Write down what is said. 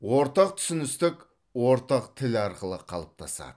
ортақ түсіністік ортақ тіл арқылы қалыптасады